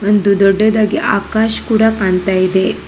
ಒಂದು ದೊಡ್ಡದಾಗಿ ಆಕಾಶ್ ಕೂಡ ಕಾಣ್ತಾಯಿದೆ.